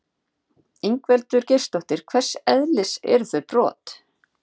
Ingveldur Geirsdóttir: Hvers eðlis eru þau brot?